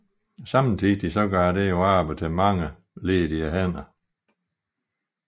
Samtidig gav det arbejde til mange ledige hænder